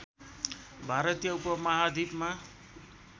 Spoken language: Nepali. भारतीय उपमहाद्विपमा